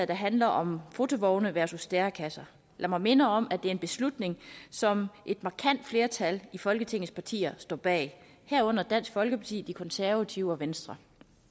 der handler om fotovogne versus stærekasser lad mig minde om at det er en beslutning som et markant flertal folketingets partier står bag herunder dansk folkeparti de konservative og venstre